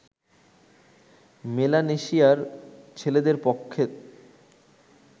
মেলানেশিয়ার ছেলেদের পক্ষে